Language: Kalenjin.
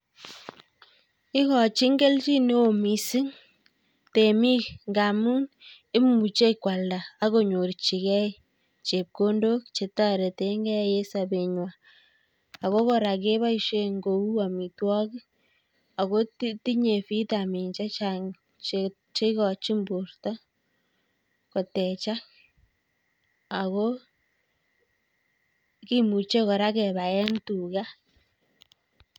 Ikochin kelchineo miising' temik ngaamu imuchei kwalda akonyorchigei chepkondok chetoretegei ing' sabetnywai ako kora keboisie eng' kouu amitwogik akotinye vitamin chechang' cheikochin borto koteechak ako kimuche kora kebaen tuga.